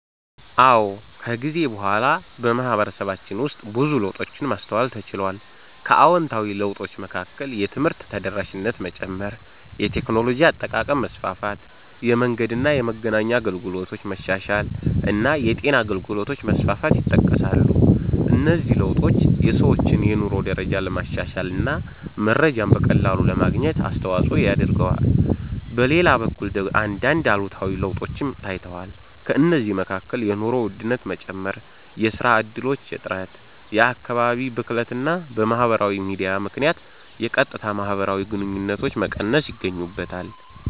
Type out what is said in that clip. አዎ፣ ከጊዜ በኋላ በማህበረሰባችን ውስጥ ብዙ ለውጦችን ማስተዋል ተችሏል። ከአዎንታዊ ለውጦች መካከል የትምህርት ተደራሽነት መጨመር፣ የቴክኖሎጂ አጠቃቀም መስፋፋት፣ የመንገድና የመገናኛ አገልግሎቶች መሻሻል እና የጤና አገልግሎቶች መስፋፋት ይጠቀሳሉ። እነዚህ ለውጦች የሰዎችን የኑሮ ደረጃ ለማሻሻል እና መረጃን በቀላሉ ለማግኘት አስተዋጽኦ አድርገዋል። በሌላ በኩል አንዳንድ አሉታዊ ለውጦችም ታይተዋል። ከእነዚህ መካከል የኑሮ ውድነት መጨመር፣ የሥራ እድሎች እጥረት፣ የአካባቢ ብክለት እና በማህበራዊ ሚዲያ ምክንያት የቀጥታ ማህበራዊ ግንኙነቶች መቀነስ ይገኙበታል።